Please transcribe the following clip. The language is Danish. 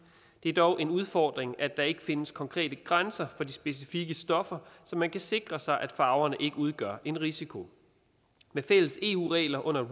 det er dog en udfordring at der ikke findes konkrete grænser for de specifikke stoffer så man kan sikre sig at farverne ikke udgør en risiko med fælles eu regler under